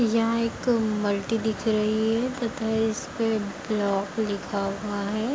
यह एक मल्टी दिख रही है तथा इसपे ब्लॉक लिखा हुआ है।